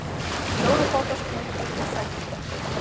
Hjólabátar, skútur og seglbretti.